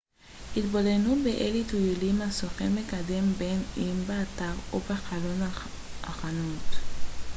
התבוננו באילו טיולים הסוכן מקדם בין אם באתר או בחלון החנות